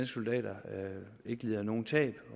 soldater ikke lider nogen tab